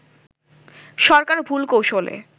সরকার ভুল কৌশলে